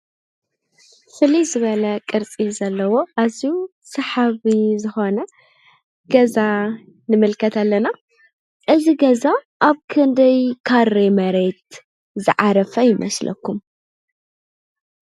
ፍልይ ዝበለ ቅርፂ ዘለዎ ኣዝዩ ሰሓቢ ዝኾነ ገዛ ንምልከት ኣለና ። እዚ ገዛ ኣብ ክንደይ ካሬ መሬት ዝዓረፈ ይመስለኩም?